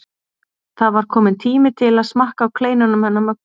Það var kominn tími til að smakka á kleinunum hennar Möggu.